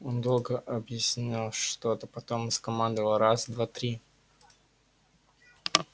он долго объяснял что-то потом скомандовал раз два три